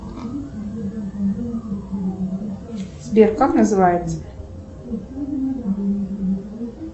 сбер как называется